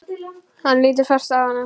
Hann lítur fast á hana.